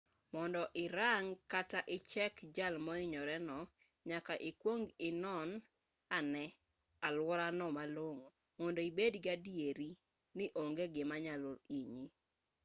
mondo irang kata ichek jal mohinyore no nyaka ikwong inon ane aluorano malong'o mondo ibed gi adieri ni onge gima nyalo hinyi